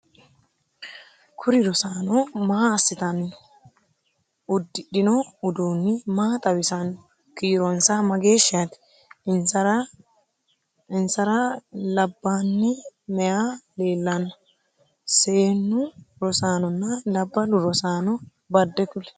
kur rosaano maa assitanni no? uddidhino uduunni maa xawisannoho? kiironsa mageeshshite? insara labaani maye leellanno? seennu rosaanonna labballu rosaano badde kuli?